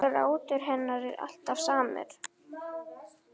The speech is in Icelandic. Grátur hennar er alltaf samur.